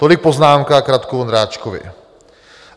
Tolik poznámka k Radku Vondráčkovi.